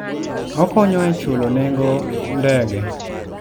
Okonyo e chulo nengo ndege.